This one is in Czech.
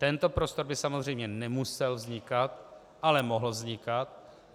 Tento prostor by samozřejmě nemusel vznikat, ale mohl vznikat.